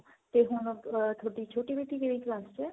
ਤੇ ਹੁਣ ਤੁਹਾਡੀ ਛੋਟੀ ਬੇਟੀ ਕਿਹੜੀ class ਚ ਏ.